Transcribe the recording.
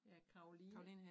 Ja Caroline